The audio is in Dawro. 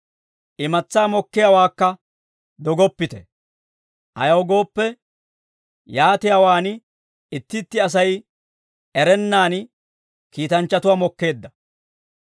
Imatsaa mokkiyaawaakka dogoppite. Ayaw gooppe, yaatiyaawaan itti itti Asay erennaan kiitanchchatuwaa mokkeedda.